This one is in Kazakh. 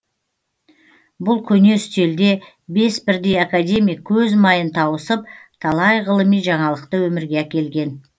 бұл көне үстелде бес бірдей академик көз майын тауысып талай ғылыми жаңалықты өмірге әкелген